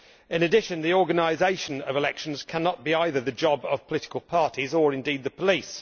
In addition, the organisation of elections cannot be either the job of political parties or indeed of the police.